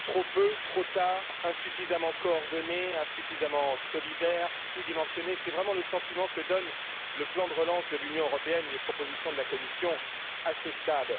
Madame la Présidente, trop peu, trop tard, insuffisamment coordonné, insuffisamment solidaire, sous dimensionné c'est vraiment le sentiment que donnent le plan de relance de l'Union européenne et les propositions de la Commission à ce stade.